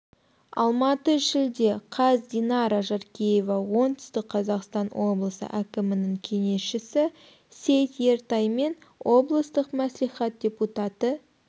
алматы шілде қаз динара жаркеева оңтүстік қазақстан облысы әкімінің кеңесшісі сейт ертай мен облыстық мәслихат депутаты